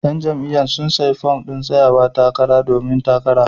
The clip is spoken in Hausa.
Yan jam'iyyar sun sayi fom din tsayawa takara domin yin takara.